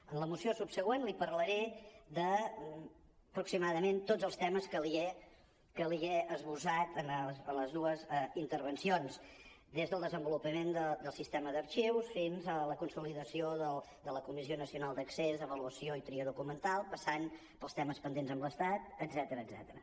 en la moció subsegüent li parlaré d’aproximadament tots els temes que li he esbossat en les dues intervencions des del desenvolupament del sistema d’arxius fins a la consolidació de la comissió nacional d’accés avaluació i tria documental passant pels temes pendents amb l’estat etcètera